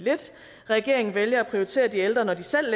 regeringen vælger at prioritere de ældre når de selv